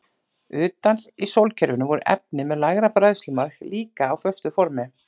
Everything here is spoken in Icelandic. Utar í sólkerfinu voru efni með lægra bræðslumark líka á föstu formi.